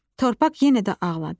Torpaq yenə də ağladı.